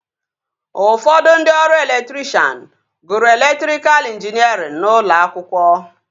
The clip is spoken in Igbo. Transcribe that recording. Ụfọdụ ndị ọrụ elektrikshan gụrụ elektrikal injiniarịn n'ụlọ akwụkwọ